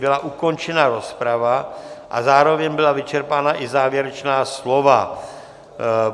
Byla ukončena rozprava a zároveň byla vyčerpána i závěrečná slova.